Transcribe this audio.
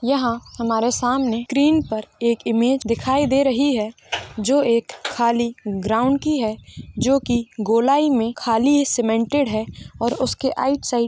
यहाँ हमारे सामने स्क्रीन में एक इमेज दिखाई दे रही है जो एक खली ग्राउंड की है जो की गोलाई में खाली सीमेंटेड है और उसके राईट साइड।